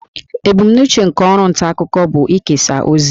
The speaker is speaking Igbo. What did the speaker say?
Ebumnuche nke ọrụ nta akụkọ bụ ikesa ozi